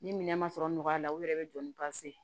Ni minɛn ma sɔrɔ nɔgɔya la u yɛrɛ bɛ don